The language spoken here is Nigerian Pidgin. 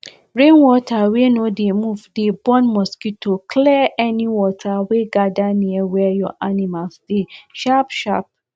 rainwater wey no dey move dey born mosquitoclear any water wey gather near where your animal dey sharpsharp